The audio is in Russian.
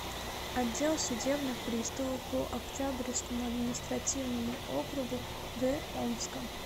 отдел судебных приставов по октябрьскому административному округу г омска